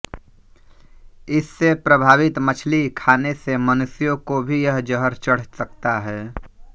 इस से प्रभावित मछली खाने से मनुष्यों को भी यह ज़हर चढ़ सकता है